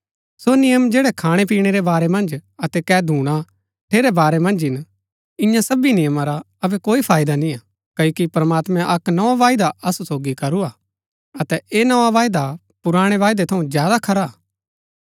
सो नियम जैड़ै खाणैपीणै रै बारै मन्ज अतै कै धूणा ठेरै बारै मन्ज हिन इन्या सबी नियमा रा अबै कोई फायदा निय्आ क्ओकि प्रमात्मैं अक्क नोआ वायदा असु सोगी करू हा अतै ऐह नोआ वायदा पुराणै वायदै थऊँ ज्यादा खरा हा